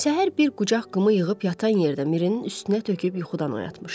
Səhər bir qucaq qımı yığıb yatan yerdə Mirinin üstünə töküb yuxudan oyatmışdı.